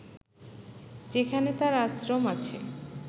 যেখানে তার আশ্রম আছে